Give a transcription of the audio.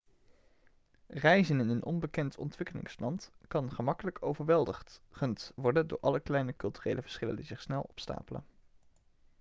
reizen in een onbekend ontwikkelingsland kan gemakkelijk overweldigend worden door alle kleine culturele verschillen die zich snel opstapelen